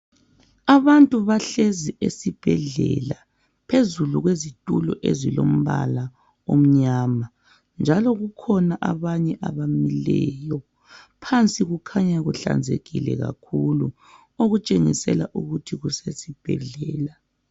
Abantu bahlezi esibhedlela, phezu kwezitulo ezilombala omnyama. Njalo kukhona abanye abamileyo. Phansi kukhanya kuhlanzekile kakhulu, okutshengisela ukuthi kusesibhedlela.